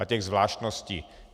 A těch zvláštností.